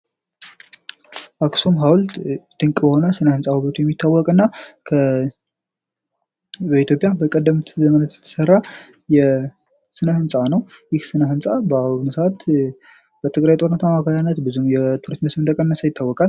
አክሱም ሀዉልት ድንቅ የሆነ የስነ-ሕንፃ ዉበቱ የሚታወቅ እና በኢትዮጵያ በቀደምት ዘመናት የተሰራ ስነ-ሕንፃ ነዉ። ይህ ስነ-ሕንፃ በአሁኑ ሰዓት በትግራይ ጦርነት አማካኝነት ብዙ የቱሪስት መጠን እንደቀነሰ ይታወቃል።